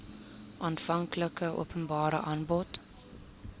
aanvanklike openbare aanbod